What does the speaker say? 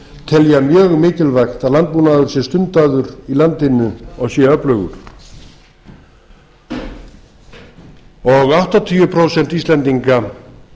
telja mjög mikilvægt að landbúnaður sé stundaður í landinu og sé öflugur áttatíu prósent íslendinga